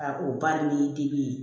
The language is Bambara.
A ko ba ni dimi ye